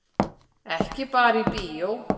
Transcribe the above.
Ekki bara í bíó.